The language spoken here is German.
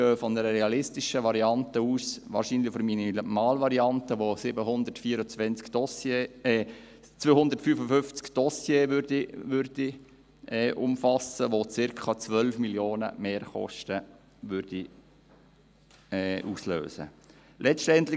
Wir gehen von einer realistischen Variante aus, wahrscheinlich von der Minimalvariante, die 255 Dossiers umfasst und circa 12 Mio. Franken Mehrkosten auslösen würde.